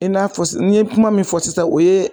E n'a fɔ n ye kuma min fɔ sisan o ye